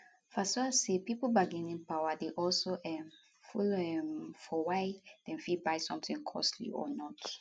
fasua say pipo bargaining power dey also um follow um follow for why dem fit buy sometin costly or not